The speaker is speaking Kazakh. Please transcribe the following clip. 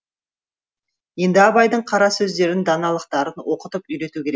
енді абайдың қара сөздерін даналықтарын оқытып үйрету керек